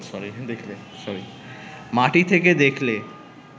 মাটি থেকে দেখলে